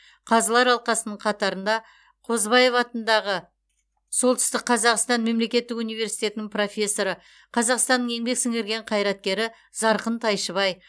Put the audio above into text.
қазылар алқасының қатарында қозыбаев атындағы солтүстік қазақстан мемлекеттік университетінің профессоры қазақстанның еңбек сіңірген қайраткері зарқын тайшыбай